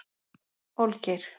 Olgeir